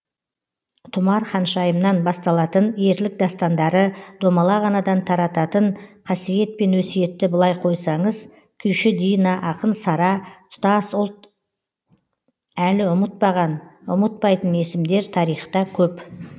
тұмар ханшайымнан басталатын ерлік дастандары домалақ анадан тарататын қасиет пен өсиетті былай қойсаңыз күйші дина ақын сара тұтас ұлт әлі ұмытпаған ұмытпайтын есімдер тарихта көп